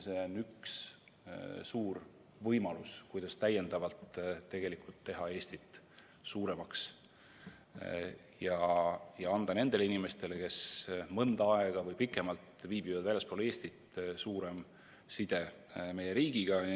See on üks suur võimalus, kuidas täiendavalt teha Eestit suuremaks ja luua nendele inimestele, kes mõnda aega või pikemalt on viibinud väljaspool Eestit, tugevam side meie riigiga.